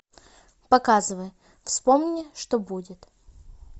показывай вспомни что будет